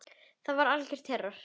Þetta var algjör terror.